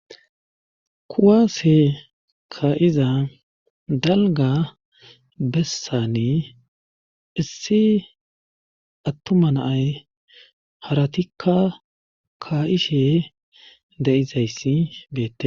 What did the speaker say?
Kuwaase kayiza dalga bessane issi attuma naay haratikka ka'ishe de'izayssi beette.